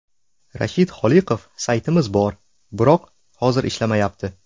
Rashid Xoliqov: Saytimiz bor, biroq hozir ishlamayapti.